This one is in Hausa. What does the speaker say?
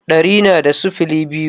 Ɗari na da sifili biyu